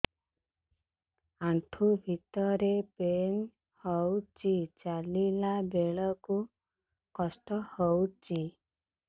ଆଣ୍ଠୁ ଭିତରେ ପେନ୍ ହଉଚି ଚାଲିଲା ବେଳକୁ କଷ୍ଟ ହଉଚି